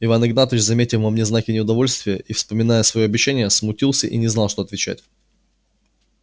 иван игнатьич заметив во мне знаки неудовольствия и вспомня своё обещание смутился и не знал что отвечать